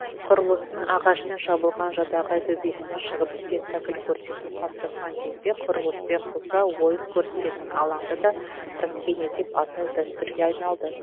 құрылыстың ағашпен жабылған жадағай төбесіне шығып спектакль көрсету қалыптасқан кезде құрылыспен қоса ойын көрсететін алаңды да проскений деп атау дәстүрге айналды